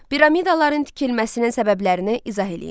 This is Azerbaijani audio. Piramidaların tikilməsinin səbəblərini izah eləyin.